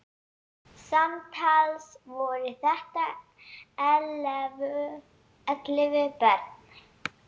Samtals voru þetta ellefu börn.